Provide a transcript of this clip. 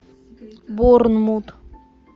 борнмут